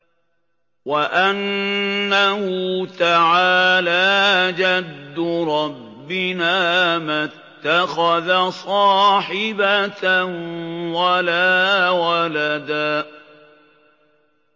وَأَنَّهُ تَعَالَىٰ جَدُّ رَبِّنَا مَا اتَّخَذَ صَاحِبَةً وَلَا وَلَدًا